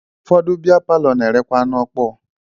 Ụfọdụ biya palọ na-erekwa anụ ọkpọọ